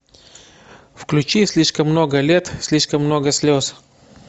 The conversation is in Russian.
включи слишком много лет слишком много слез